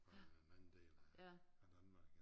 Har været en anden del af af Danmark